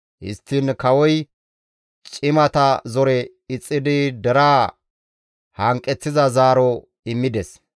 Histtiin kawoy cimata zore ixxidi deraa hanqeththiza zaaro immides.